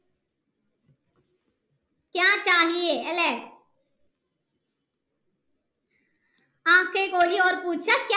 അല്ലെ